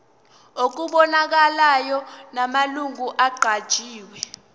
okubonakalayo namalungu aqanjiwe